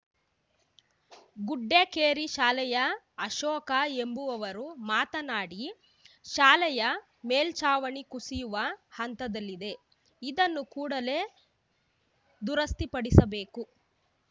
ಗುಡ್ಡೇಕೇರಿ ಶಾಲೆಯ ಅಶೋಕ ಎಂಬುವವರು ಮಾತನಾಡಿ ಶಾಲೆಯ ಮೇಲ್ಚಾವಣಿ ಕುಸಿಯುವ ಹಂತದಲ್ಲಿದೆ ಇದನ್ನು ಕೂಡಲೇ ದುರಸ್ತಿಪಡಿಸಬೇಕು